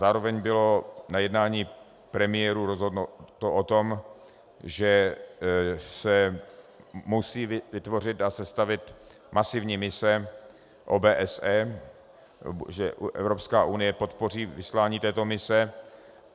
Zároveň bylo na jednání premiérů rozhodnuto o tom, že se musí vytvořit a sestavit masivní mise OBSE, že Evropská unie podpoří vyslání této mise.